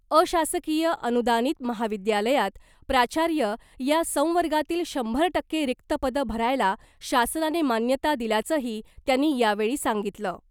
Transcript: अशासकीय अनुदानित महाविद्यालयात प्राचार्य या संवर्गातली शंभर टक्के रिक्त पदं भरायला शासनाने मान्यता दिल्याचंही त्यांनी यावेळी सांगितलं .